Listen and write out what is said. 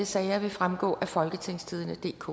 sager vil fremgå af folketingstidendedk